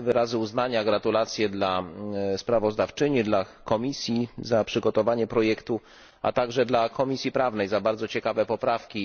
Wyrazy uznania i gratulacje dla sprawozdawczyni, dla komisji za przygotowanie projektu, a także dla Komisji Prawnej za bardzo ciekawe poprawki.